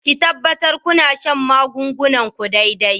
Ki tabbatar kina shan magungunan ku daidai.